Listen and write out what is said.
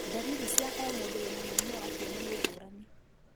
Ndariri cia o mũndũ wĩna mũrimũ wa kĩene nĩ ngũrani.